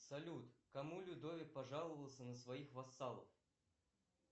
салют кому людовик пожаловался на своих вассалов